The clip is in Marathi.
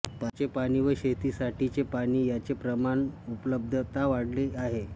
पाण्याचे पाणी व शेतीसाठीचे पाणी यांचे प्रमाण व उपलब्धता वाढली आहे